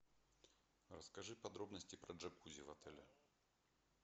расскажи подробности про джакузи в отеле